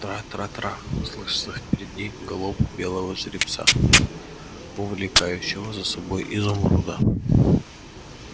трра-трра-трра слышится впереди галоп белого жеребца увлекающего за собой изумруда